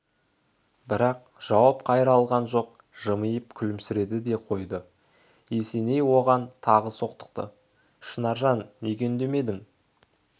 бірақ жауап қайыра алған жоқ жымиып күлімсіреді де қойды есеней оған тағы соқтықты шынаржан неге үндемедің